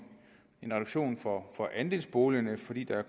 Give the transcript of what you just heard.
en reduktion for andelsboligerne fordi det